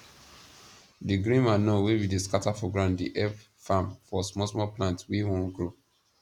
di green manure wey we dey scatter for ground dey help farm for small small plants wey wan grow